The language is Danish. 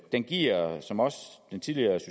den giver som også